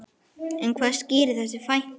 En hvað skýrir þessa fækkun?